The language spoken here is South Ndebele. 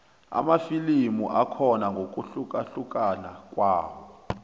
amafilimu akhona ngokuhlukahlukana kwawo